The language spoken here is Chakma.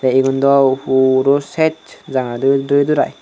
ye eyun do puro cesh jangarey duri darai.